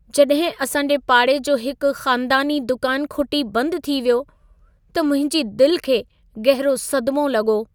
जॾहिं असां जे पाड़े जो हिकु ख़ानदानी दुकानु खुटी बंदि थी वियो, त मुंहिंजी दिलि खे गहरो सदिमो लॻो।